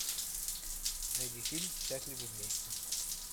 найди фильм счастливы вместе